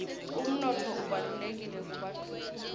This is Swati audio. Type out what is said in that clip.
umnotfo ubalulekile kubafufusi